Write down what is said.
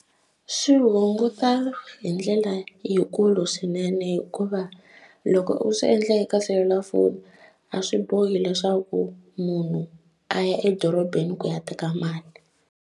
Swi hunguta hi ndlela yikulu swinene hikuva loko u swi endle eka selulafoni a swi bohi leswaku munhu a ya edorobeni ku ya teka mali.